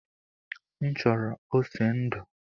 M chọrọ ose ndu